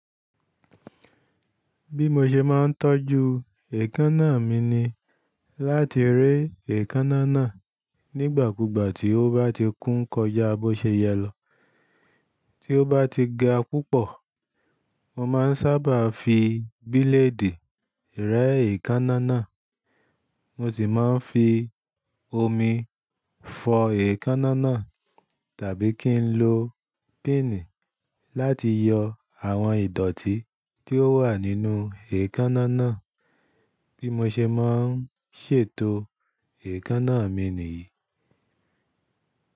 Bí mo ṣe máa ń tọ́jú èékánná mi ni láti re èékánná náà nígbàkúgbà tí ó bá ti kún kọjá bó ṣe yẹ lọ. Tí ó bá ti ga púpọ̀, mo máa ń sábà fi bílèèdì rẹ́ èékánná náà. Mo sì máa ń fi omi fọ èékánná náà tàbí kí n lo píìnì láti yọ àwọn ìdọ̀tí tí ó wà nínú èékánná náà. Bí mo ṣe máa ń ṣètò èékánná mi nìyí.